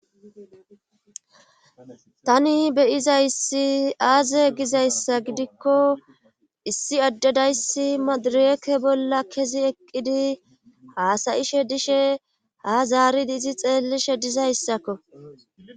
tani beyiza issi aaze gizayssa gidikko issi addedayssi madireke bolla kezi eqqidi haasayishe dishe ha zaaridi izi xeellishe dizayssakko